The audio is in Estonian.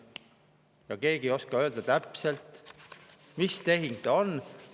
Ja keegi ei oska öelda täpselt, mis tehing see on.